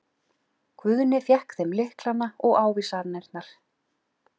Guðni fékk þeim lyklana og ávísanirnar.